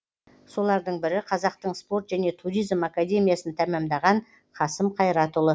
солардың бірі қазақтың спорт және туризм академиясын тәмамдаған қасым қайратұлы